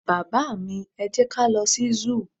baba mi, e jẹ ka lo sí zoo